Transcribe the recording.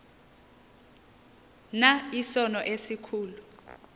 na isono esikhulu